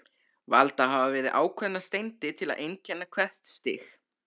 Valdar hafa verið ákveðnar steindir til að einkenna hvert stig.